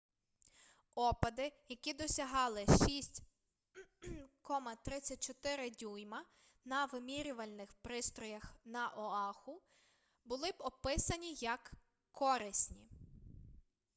опади які досягали 6,34 дюйма на вимірювальних пристроях на оаху були описані як корисні